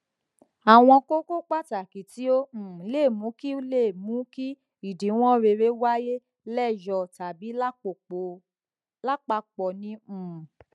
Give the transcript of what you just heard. àwọn kókó pàtàkì tí ó um lè mú kí lè mú kí idiwon rere wáyé leyo tabi lapapo ni um